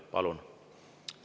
Palun!